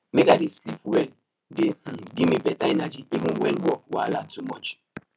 make i dey sleep well dey um gimme beta energy even when work wahala too much